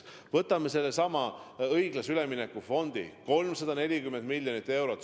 Võtame sellesama õiglase ülemineku fondi – 340 miljonit eurot.